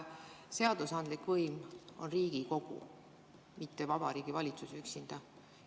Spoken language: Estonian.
Seadusandlik võim on Riigikogu, mitte Vabariigi Valitsus üksinda.